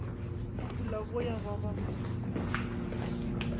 fufula boya ba ba mo